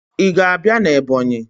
Ị ga-abịa na Ebọnyị?